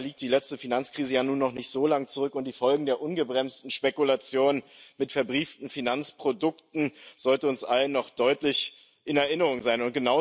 Dabei liegt die letzte Finanzkrise ja nun noch nicht so lange zurück, und die Folgen der ungebremsten Spekulation mit verbrieften Finanzprodukten sollten uns allen noch deutlich in Erinnerung sein.